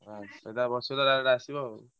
ହଁ ସେଟା ରେ ବସିବ ତ direct ଆସିବ ଆଉ।